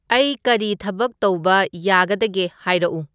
ꯑꯩ ꯀꯔꯤ ꯊꯕꯛ ꯇꯧꯕ ꯌꯥꯒꯗꯒꯦ ꯍꯥꯏꯔꯛꯎ